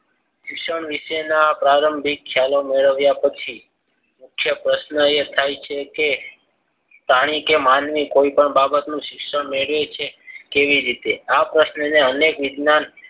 શિક્ષણ વિશેના પ્રારંભિક ખ્યાલ મેળવ્યા પછી મુખ્ય પ્રશ્ન એ થાય છે. કે પ્રાણી કે માનવી કોઈ પણ બાબતનું શિક્ષણ મેળવે છે. કેવી રીતે આ પ્રશ્નને અનેક વિજ્ઞાન